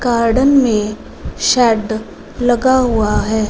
Garden मे shed लगा हुआ है।